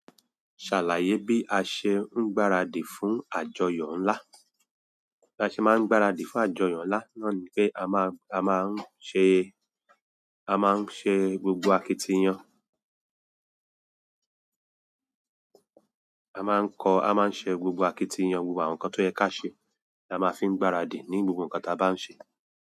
Ṣàlàyé bí a ṣe ń gbáradì fún àjọyọ̀ ńlá. Bí a ṣe máa ń gbáradì fún àjọyọ̀ ńlá náà ni pé a má, a má ń ṣe, a má ń ṣe gbogbo akitiyan. A máa ń kọ, a máa ń ṣe gbogbo akitiyan, gbogbo àwọn nǹkan tó yẹ ká ṣe, la máa fi ń gbáradì ní gbogbo nǹkan táa bá ń ṣe.